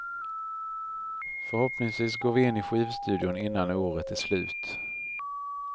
Förhoppningsvis går vi in i skivstudion innan året är slut.